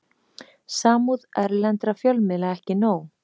Samúð erlendra fjölmiðla ekki nóg